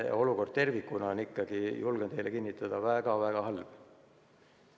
Olukord tervikuna on ikkagi, julgen teile kinnitada, väga-väga halb.